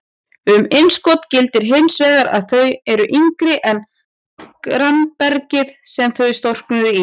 Um innskot gildir hins vegar að þau eru yngri en grannbergið sem þau storknuðu í.